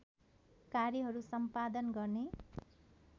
कार्यहरू सम्पादन गर्ने